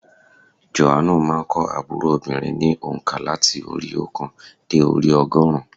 Jòhánù má a n kọ́ ábúrò obìnrin ní ònká láti orí i óòkan dé orí i ogórùn ún